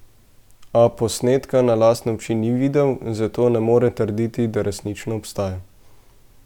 A posnetka na lastne oči ni videl, zato ne more trditi, da resnično obstaja.